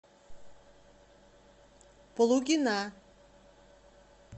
плугина